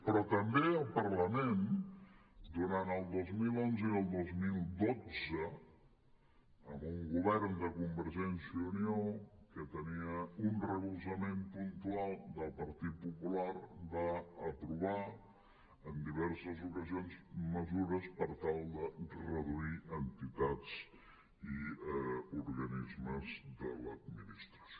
però també el parlament durant el dos mil onze i el dos mil dotze amb un govern de convergència i unió que tenia un recolzament puntual del partit popular va aprovar en diverses ocasions mesures per tal de reduir entitats i organismes de l’administració